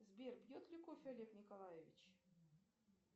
сбер пьет ли кофе олег николаевич